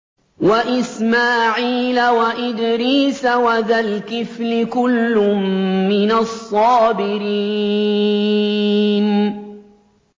وَإِسْمَاعِيلَ وَإِدْرِيسَ وَذَا الْكِفْلِ ۖ كُلٌّ مِّنَ الصَّابِرِينَ